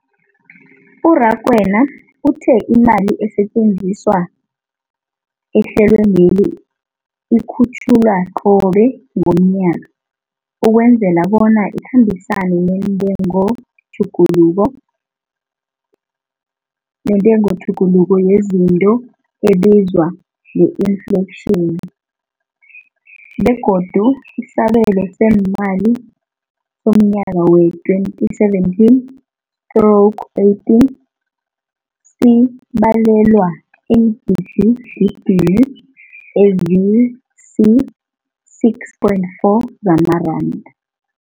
U-Rakwena uthe imali esetjenziswa ehlelweneli ikhutjhulwa qobe ngomnyaka ukwenzela bona ikhambisane nentengotjhuguluko yezinto ebizwa nge-infleyitjhini, begodu isabelo seemali somnyaka we-2017 stroke 18 sibalelwa eengidigidini ezisi-6.4 zamaranda.